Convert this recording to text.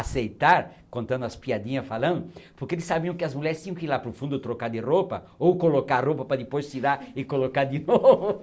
aceitar, contando as piadinha, falando, porque eles sabiam que as mulheres tinham que ir lá para o fundo trocar de roupa ou colocar a roupa para depois tirar e colocar de novo.